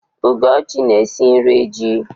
Ugochi na-esi nri ji.